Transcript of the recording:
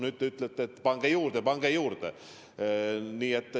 Nüüd te ütlete, et pange juurde, pange juurde!